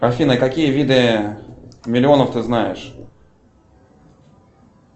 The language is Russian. афина какие виды миллионов ты знаешь